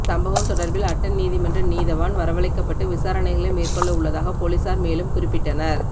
சம்பவம் தொடர்பில் அட்டன் நீதிமன்ற நீதவான் வரவளைக்கப்பட்டு விசாரணைகளை மேற்கொள்ள உள்ளதாக பொலிஸார் மேலும் குறிப்பிட்டனர்